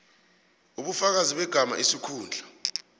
ubufakazi begama isikhundla